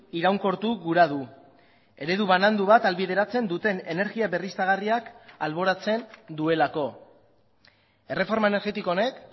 iraunkortu gura du eredu banandu bat ahalbideratzen duten energia berriztagarriak alboratzen duelako erreforma energetiko honek